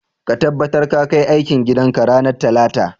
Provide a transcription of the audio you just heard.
Ka tabbatar ka kai aikin gidan ka ranar talata.